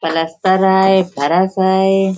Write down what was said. पलस्तर है बरस है।